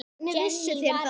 Hvernig vissuð þér það?